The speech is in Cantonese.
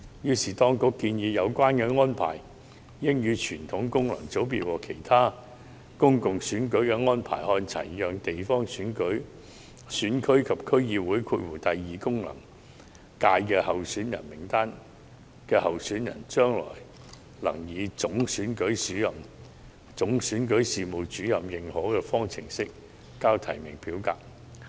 所以，當局建議有關安排應與傳統功能界別和其他公共選舉的安排看齊，讓地方選區及區議會功能界別候選人名單上的候選人，將來能夠以總選舉事務主任認可的方式呈交提名表格。